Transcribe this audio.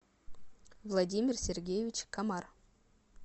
владимир сергеевич комар